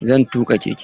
Zan tuƙa keke.